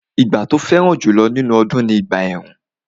Ìgbà tó fẹ́ràn jùlọ nínú ọdún ni ìgbà ẹ̀rùn